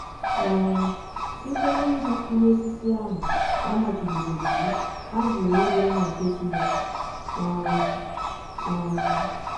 um Site n’iri mkpụrụ ọsisi ahụ a machibidọrọ iwụ, ha jụrụ ịdị mma nke Chineke um. um